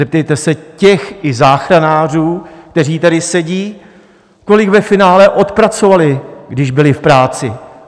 Zeptejte se těch, i záchranářů, kteří tady sedí, kolik ve finále odpracovali, když byli v práci.